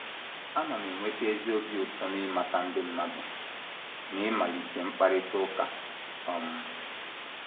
Ana m enweta ezi obi ụtọ n’ịmata ndị mmadụ na ịmalite mkparịta ụka. um